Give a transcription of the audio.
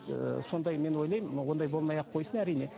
ы сондай мен ойлаймын ондай болмай ақ қойсын әрине